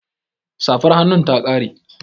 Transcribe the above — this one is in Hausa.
Safar hannun ta ƙare